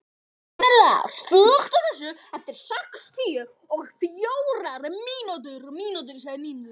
Marínella, slökktu á þessu eftir sextíu og fjórar mínútur.